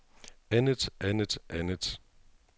andet andet andet